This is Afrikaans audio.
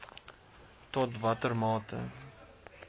tot watter mate